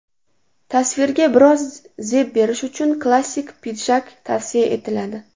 Tasvirga biroz zeb berish uchun klassik pidjak tavsiya etiladi.